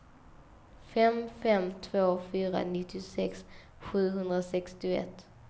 fem fem två fyra nittiosex sjuhundrasextioett